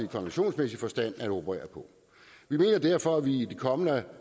konventionsmæssig forstand at operere på vi mener derfor at vi i det kommende